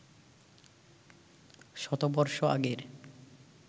শতবর্ষ আগের